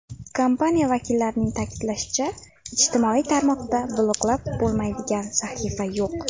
Kompaniya vakillarining ta’kidlashicha, ijtimoiy tarmoqda bloklab bo‘lmaydigan sahifa yo‘q.